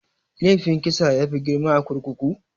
Laifin kisa yafi girma a kurkuku?